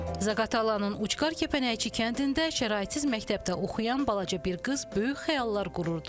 Zaqatalanın ucqar Kəpənəkçi kəndində şəraitsiz məktəbdə oxuyan balaca bir qız böyük xəyallar qururdu.